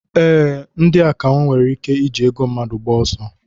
Ee, ndị akawo nwere ike iji ego mmadụ gbaa ọsọ.